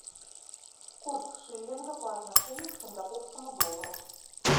курс шиллинга по отношению к сингапурскому доллару